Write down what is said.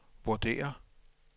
vurderer